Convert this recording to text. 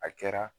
A kɛra